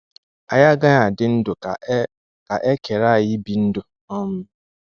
Anyị agaghị adị ndụ ka e ka e kere anyị ibi ndụ. um